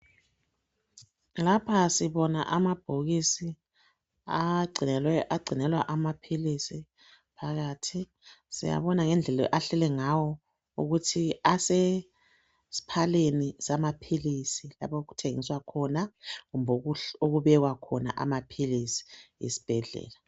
Lapha sibona amabhokisi agcinelwa amapilisi phakathi. Siyabona ngedlela ahlele ngawo ukuthi asesiphaleni samapilisi, lapho okuthengiswa khona, kumbe lapho okubekwa khona amapilisi esibhedlela.